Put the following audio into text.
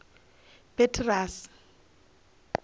petirasi